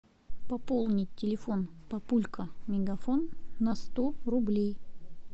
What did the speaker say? пополнить телефон папулька мегафон на сто рублей